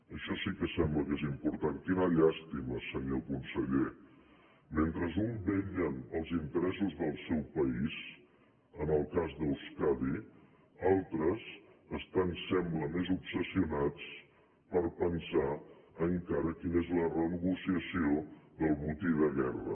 això sí que sembla que és important quina llàstima senyor conseller mentre uns vetllen pels interessos del seu país en el cas d’euskadi altres estan ho sembla més obsessionats per pensar encara quina és la renegociació del botí de guerra